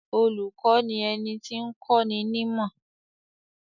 Olùkọ́ ni ẹni tí ń kọ́ni nímọ̀.